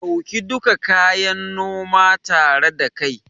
Ɗauki duka kayan noma tare da kai